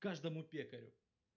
каждому пекарю